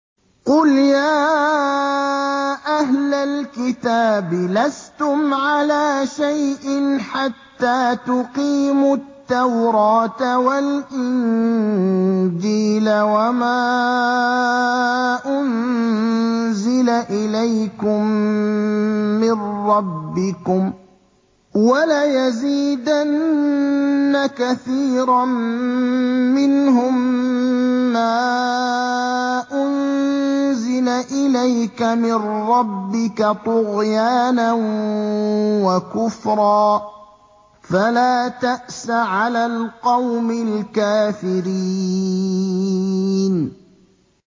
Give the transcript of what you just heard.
قُلْ يَا أَهْلَ الْكِتَابِ لَسْتُمْ عَلَىٰ شَيْءٍ حَتَّىٰ تُقِيمُوا التَّوْرَاةَ وَالْإِنجِيلَ وَمَا أُنزِلَ إِلَيْكُم مِّن رَّبِّكُمْ ۗ وَلَيَزِيدَنَّ كَثِيرًا مِّنْهُم مَّا أُنزِلَ إِلَيْكَ مِن رَّبِّكَ طُغْيَانًا وَكُفْرًا ۖ فَلَا تَأْسَ عَلَى الْقَوْمِ الْكَافِرِينَ